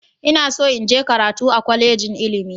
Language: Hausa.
Ina so in je karatu a kwalejin ilimi.